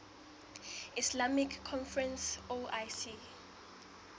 islamic conference oic